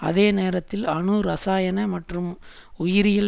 அதே நேரத்தில் அணு இரசாயன மற்றும் உயிரியல்